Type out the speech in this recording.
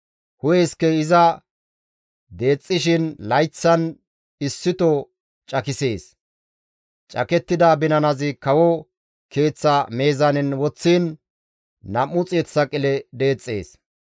Hu7e iskey iza deexxishin layththan issito cakisees; cakettida binanazi kawo keeththa meezaanen woththishin 200 saqile deexxees.